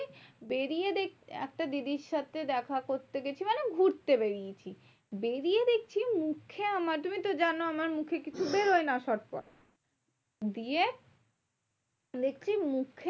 বেরিয়ে একটা দিদির সাথে দেখা করতে গেছি মানে ঘুরতে বেড়িয়েছি। বেরিয়ে দেখছি মুখে আমার তুমি তো জানো আমার মুখে কিছু বেরোয় না spot ফট। দিয়ে দেখছি মুখে